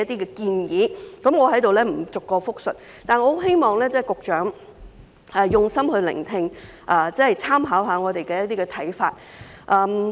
我在這裏不會逐項複述，但我希望局長用心聆聽，參考我們的看法。